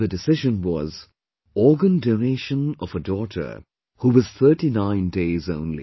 And the decision was...Organ Donation of a daughter who was thirty nine days only